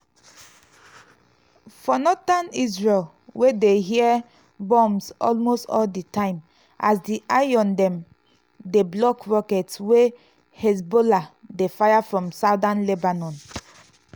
for northern israel we dey hear booms almost all di time as di iron dome dey block rockets wey hezbollah dey fire from southern lebanon.